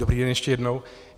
Dobrý den ještě jednou.